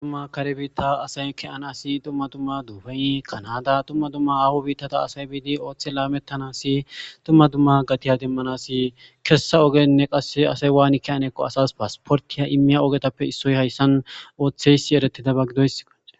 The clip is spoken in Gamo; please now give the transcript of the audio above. Dummma dumma kare biitta asay ke7anasi dumma dumma dubey kanada tumma dtumma aahu biittata asay biidi ooththe laamettanasi tumma dumma gatiya demmanasi kessa ogenne qasse asay waani kiyanekko asas paasportiya immiya ogetappe issoy hayssan ooththeysi eretida bag gidoysoe